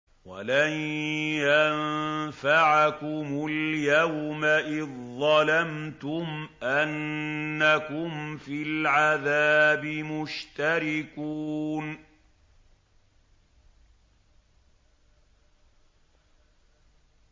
وَلَن يَنفَعَكُمُ الْيَوْمَ إِذ ظَّلَمْتُمْ أَنَّكُمْ فِي الْعَذَابِ مُشْتَرِكُونَ